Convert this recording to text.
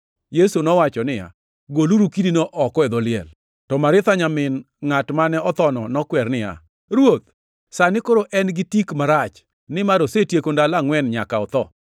Yesu nowacho niya, “Goluru kidino oko e dho liel.” To Maritha ma nyamin ngʼat mane othono nokwer niya, “Ruoth, sani koro en gi tik marach, nimar osetieko ndalo angʼwen nyaka notho.”